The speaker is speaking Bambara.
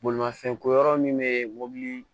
Bolimafɛn ko yɔrɔ min bɛ mobili